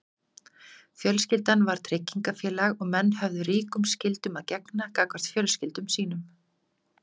fjölskyldan var tryggingafélag og menn höfðu ríkum skyldum að gegna gagnvart fjölskyldum sínum